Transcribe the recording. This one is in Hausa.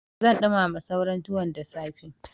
Zan ɗumama sauran tuwon da safe.